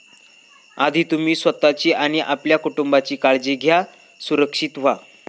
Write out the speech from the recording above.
आधी तुम्ही स्वतःची आणि आपल्या कुटुंबीयांची काळजी घ्या, सुरक्षित व्हा.